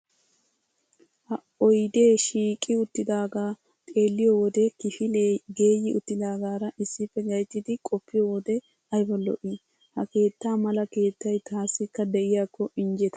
Ha oydee shiiqi uttidaagaa xeelliyo wode kifilee geeyyi uttidaagaara issippe gattidi qoppiyo wode ayba lo"ii. Ha keettaa mala keettay taassikka de'iyakko injjetana.